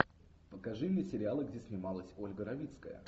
покажи мне сериалы где снималась ольга равицкая